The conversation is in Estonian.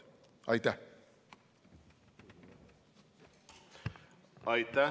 Aitäh!